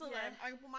Ja